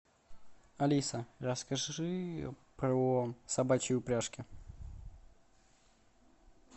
алиса расскажи про собачьи упряжки